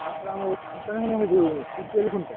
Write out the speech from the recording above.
Current ଆମ ଯୋଉ ଖୁଣ୍ଟ।